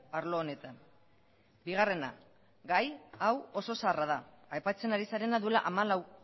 arlo honetan bigarrena gai hau oso zaharra da aipatzen ari zarena duela hamalau